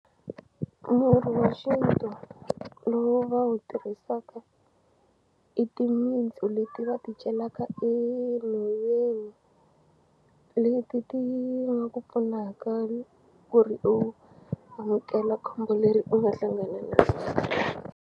Murhi wa xintu lowu va wu tirhisaka i timitsu leti va ti celaka enhoveni leti ti nga ku pfunaka ku ri u amukela khombo leri u nga hlangana na .